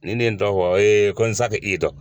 Ni ne ye n tɔgɔ fɔ ko n sa k'i dɔn